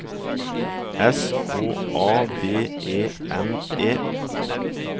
S K A D E N E